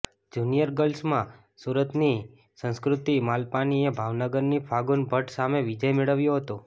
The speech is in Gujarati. જુનિયર ગર્લ્સમાં સુરતની સંસ્કૃતિ માલપાનીએ ભાવનગરની ફાગુન ભટ્ટ સામે વિજય મેળવ્યો હતો